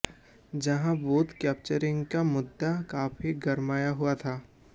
जहां booth capturing का मुद्दा काफी गरमाया हुआ था